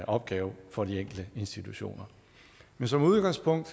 opgave for de enkelte institutioner men som udgangspunkt